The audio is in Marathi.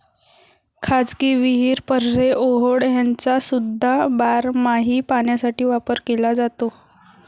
खाजगी विहीर, पऱ्हे, ओहोळ ह्यांचासुद्धा बारमाही पाण्यासाठी वापर केला जातो.